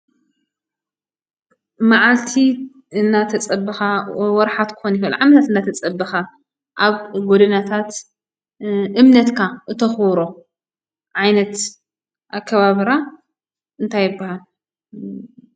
መዓልቲ እናተፀበኻ ወርሓት ክኾን ይኽእል ዓመት እናተፀበኻ ኣብ ጎደናታት እምነትካ እተኽብሮ ዓይነት ኣከባብራ እንታይ ይብሃል ?